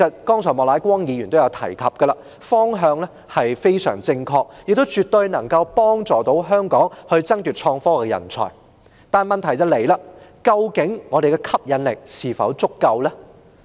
正如莫乃光議員剛才也提到，這個方向相當正確，亦絕對有助香港爭奪創科人才，但問題在於我們的吸引力是否足夠？